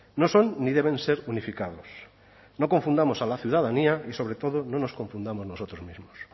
no son ni deben ser unificados no confundamos a la ciudadanía y sobre todo no nos confundamos nosotros mismos